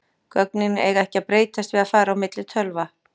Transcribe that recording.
Gögnin eiga ekki að breytast við að fara á milli tölva.